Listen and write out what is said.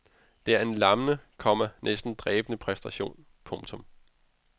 Det er en lammende, komma næsten drænende præstation. punktum